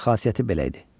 Onun xasiyyəti belə idi.